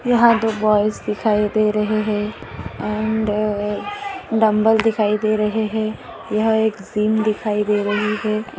यहा दो बॉयज दिखाई दे रहे है अँड अ डंबल दिखाई दे रहे है यह एक जिम दिखाई दे रही है।